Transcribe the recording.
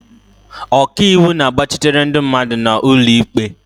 Ọkaiwu na-agbachitere ndị mmadụ n'ụlọ ikpe.